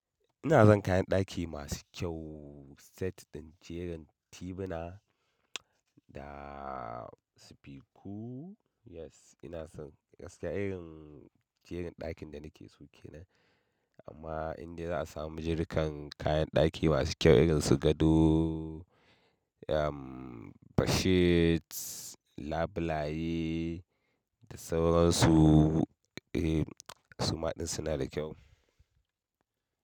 Ina zan kayan ɗaki masu kyau set ɗin jerin tebuna da sifiku. Yes, ina son gaske irin jerin ɗakin da nake so kenan amma inda za a samu jerukan kayan ɗaki masu kyau irin su gado, bedsheets, labulaye da sauran su. Eh, suma ɗin suna da kyau.